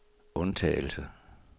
undtagelse